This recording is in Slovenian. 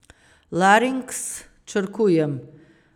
Larinks, črkujem.